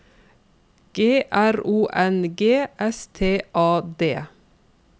G R O N G S T A D